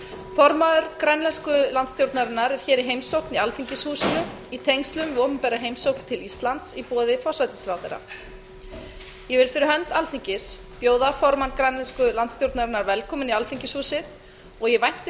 formaður grænlensku landsstjórnarinnar er hér í heimsókn í alþingishúsinu í tengslum við opinbera heimsókn til íslands í boði forsætisráðherra ég vil fyrir hönd alþingis bjóða formann grænlensku landsstjórnarinnar kuupik kleist velkominn í alþingishúsið og ég vænti